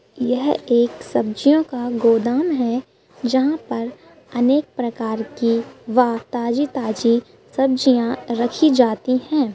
यह एक सब्जियों का गोदाम है जहाँ पर अनेक प्रकार की व ताजी-ताजी सब्जियाँ रखी जाती हैं।